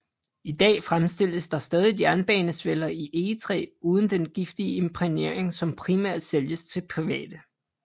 I dag fremstilles der stadigt jernbanesveller i egetræ uden den giftige imprægnering som primært sælges til private